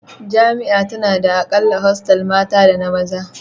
Jami'a tana da a kalla hostel mata da na maza